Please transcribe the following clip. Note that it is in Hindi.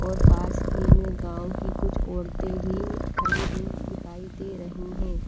और पास ही मे गांव की कुछ औरतें भी खड़ी हुई दिखाई दे रही है।